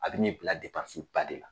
A bɛ n'i bila ba de la.